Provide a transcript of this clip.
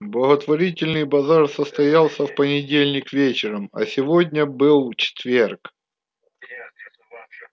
благотворительный базар состоялся в понедельник вечером а сегодня был четверг